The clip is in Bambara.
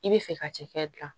I bɛ fɛ ka cɛkɛ dilan